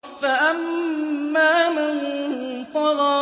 فَأَمَّا مَن طَغَىٰ